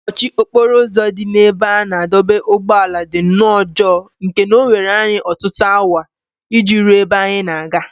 Mkpọchi okporo ụzọ dị n’ebe a na-adọba ụgbọala dị nnọọ njọ nke na o were anyị ọtụtụ awa iji ruo ebe anyị na-aga.